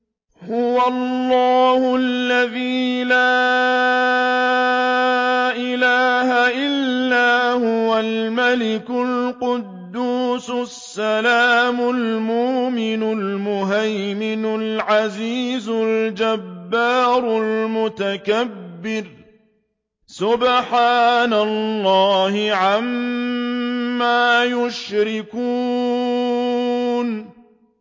هُوَ اللَّهُ الَّذِي لَا إِلَٰهَ إِلَّا هُوَ الْمَلِكُ الْقُدُّوسُ السَّلَامُ الْمُؤْمِنُ الْمُهَيْمِنُ الْعَزِيزُ الْجَبَّارُ الْمُتَكَبِّرُ ۚ سُبْحَانَ اللَّهِ عَمَّا يُشْرِكُونَ